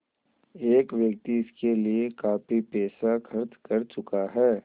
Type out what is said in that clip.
एक व्यक्ति इसके लिए काफ़ी पैसा खर्च कर चुका है